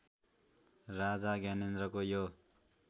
राजा ज्ञानेन्द्रको यो